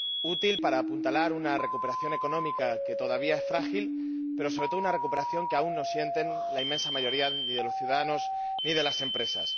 Útil para apuntalar una recuperación económica que todavía es frágil, pero, sobre todo, una recuperación que aún no sienten la inmensa mayoría de los ciudadanos ni de las empresas.